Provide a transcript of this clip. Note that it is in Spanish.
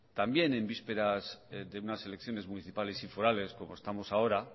también en vísperas de unas elecciones municipales y forales como estamos ahora